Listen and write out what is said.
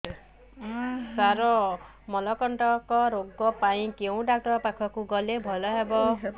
ସାର ମଳକଣ୍ଟକ ରୋଗ ପାଇଁ କେଉଁ ଡକ୍ଟର ପାଖକୁ ଗଲେ ଭଲ ହେବ